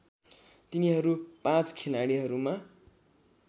तिनीहरू पाँच खिलाडीहरूमा